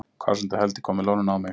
Hvásandi helvíti kom með loðnuna á mig